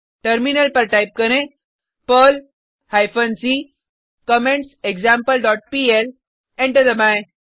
terminal पर type करें Perl hyphen c comment example dot PL enter दबाएँ